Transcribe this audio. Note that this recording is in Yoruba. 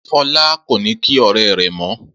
Fọlá kò ní kí ọ̀rẹ́ rẹ̀ mọ́.